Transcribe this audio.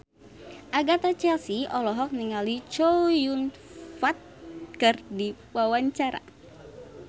Agatha Chelsea olohok ningali Chow Yun Fat keur diwawancara